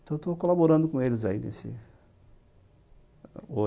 Então, estou colaborando com eles hoje nesse